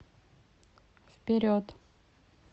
вперед